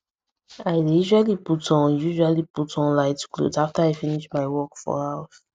i dey usually put on usually put on light cloth after i finish my work for house